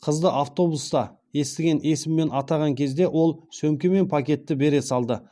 қызды автобуста естіген есіммен атаған кезде ол сөмке мен пакетті бере салды